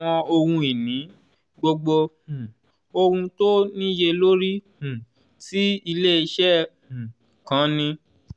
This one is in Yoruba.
àwọn ohun ìní: gbogbo um ohun tó níye lórí um tí iléeṣẹ́ um kan ní.